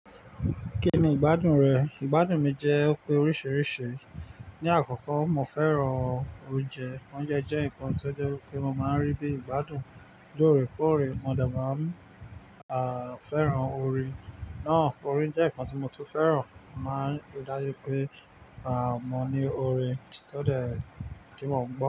Kí ni ìgbádùn rẹ̀? Ìgbádùn mi jẹ́ òpin oríṣiríṣi. Ni àkọ́kọ́, mo fẹ́ràn oúnjẹ. Oúnjẹ jẹ́ nǹkan tó jẹ́ wi pe mo máa rí bí ìgbádùn. Lóòrèkóòrè mo de máa ń, à, fẹ́ràn ore. Náà, ore jẹ́ nǹkan tí mo tún fẹ́ràn. Mo máa ń rí dájú pé, à, mo ní ore tó de tí mọ̀ mọ́